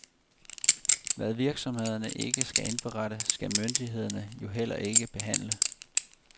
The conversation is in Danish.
Hvad virksomhederne ikke skal indberette, skal myndighederne jo heller ikke behandle.